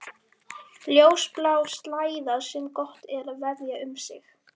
Ljósblá slæða sem gott er að vefja um sig.